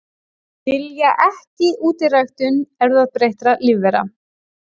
Vilja ekki útiræktun erfðabreyttra lífvera